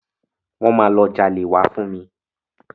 Wọ́n máa lọ jalè wá fún mi.